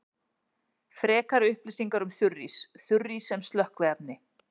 Frekari upplýsingar um þurrís: Þurrís sem slökkviefni.